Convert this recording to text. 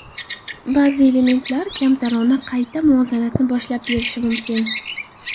Ba’zi elementlar kamtarona qayta muvozanatni boshlab berishi mumkin.